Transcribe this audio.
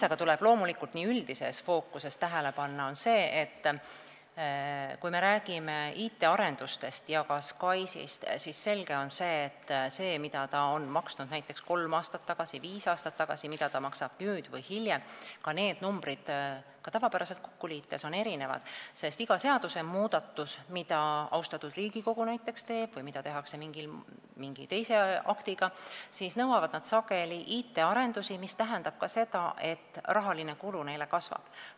Aga loomulikult tuleb üldises fookuses tähele panna seda, et kui me räägime IT-arendustest ja ka SKAIS-ist, siis on selge, et numbrid selle kohta, mida need maksid näiteks kolm või viis aastat tagasi ja mis need maksavad nüüd või hiljem, on tavapäraselt kokku liites erinevad, sest iga seadusmuudatus, mida näiteks austatud Riigikogu teeb või mida tehakse mingi teise aktiga, nõuavad sageli IT-arendusi, mis tähendab ka seda, et rahaline kulu kasvab.